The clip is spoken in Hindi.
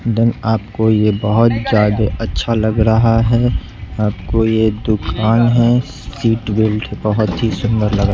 आपको ये बहोत ज्यादे अच्छा लग रहा है आपको ये दुकान है सीट बेल्ट बहोत ही सुंदर लगा--